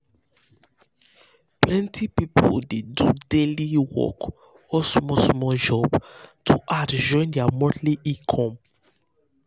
plenty people um dey do um daily um work or small small job to add join their monthly money.